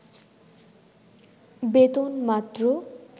বেতন মাত্র